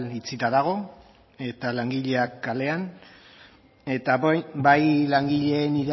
itxita dago eta langileak kaleak eta bai langileen